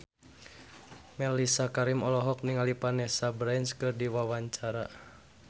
Mellisa Karim olohok ningali Vanessa Branch keur diwawancara